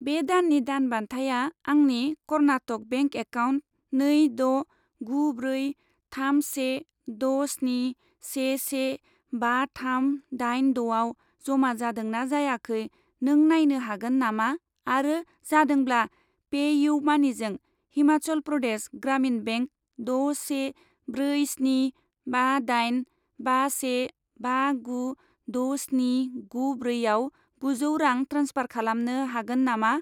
बे दाननि दान बान्थाया आंनि कर्नाटक बेंक एकाउन्ट नै द' गु ब्रै थाम से द' स्नि से से बा थाम दाइन द'आव जमा जादोंना जायाखै नों नायनो हागोन नामा, आरो जादोंब्ला, पे इउ मानिजों हिमाचल प्रदेश ग्रामिन बेंक द' से ब्रै स्नि बा दाइन बा से बा गु द' स्नि गु ब्रैआव गुजौ रां ट्रेन्सफार खालामनो हागोन नामा?